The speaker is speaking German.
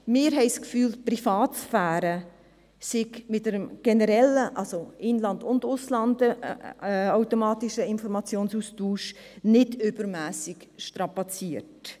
Wir haben den Eindruck, die Privatsphäre werde mit einem automatischen Informationsaustausch im In- und Ausland nicht übermässig strapaziert.